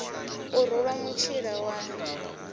o ruṅwa mutshila wa el